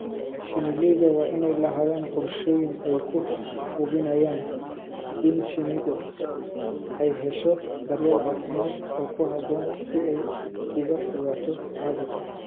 Shinnileyda waa inay lahaadaan qorshooyin ay ku hubinayaan in shinnidu ay hesho daryeel caafimaad oo ku habboon si ay uga fogaato caabuqa.